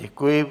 Děkuji.